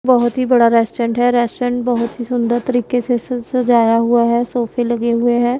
बहुत ही बड़ा रेस्टोरेंट है रेस्टोरेंट बहुत ही सुंदर तरीके से स सजाया हुआ है सोफे लगे हुएं हैं।